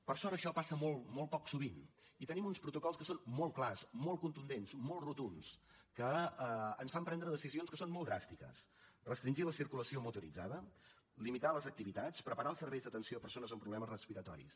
per sort això passa molt poc sovint i tenim uns protocols que són molt clars molt contundents molt rotunds que ens fan prendre decisions que són molt dràstiques restringir la circulació motoritzada limitar les activitats preparar els serveis d’atenció a persones amb problemes respiratoris